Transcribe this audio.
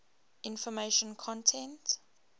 information content